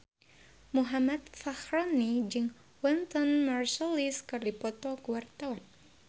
Muhammad Fachroni jeung Wynton Marsalis keur dipoto ku wartawan